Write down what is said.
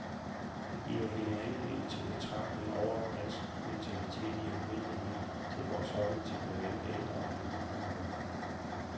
Det giver hende anledning til betragtninger over dansk mentalitet i almindelighed, til vores holdning til blandt andre ældre og handicappede.